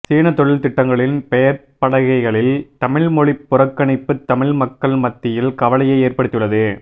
சீனத் தொழில் திட்டங்களின் பெயர்ப் பலகைகளில் தமிழ்மொழிப் புறக்கணிப்பு தமிழ் மக்கள் மத்தியில் கவலையை ஏற்படுத்தியுள்ளது